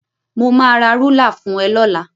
Mo máa ra rúlà fún ẹ lọ́la.